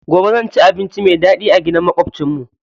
Gobe zan ci abinci mai daɗi a gidan maƙwabcin mu.